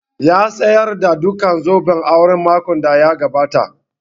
Ya sayarda duka zobban aure makon da ya gabata